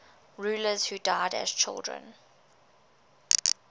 rulers who died as children